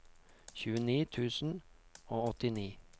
tjueni tusen og åttini